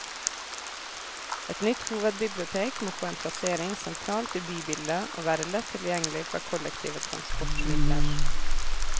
Et nytt hovedbibliotek må få en plassering sentralt i bybildet, og være lett tilgjengelig fra kollektive transportmidler.